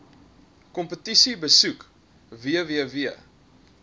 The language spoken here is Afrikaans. kompetisie besoek www